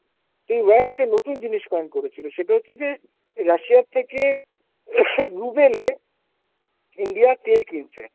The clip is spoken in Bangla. এই wire একটা নতুন জিনিস point করেছিল সেটা হচ্ছে যে Russia র থেকে Coughing Ruble এ India তেল কিনছে।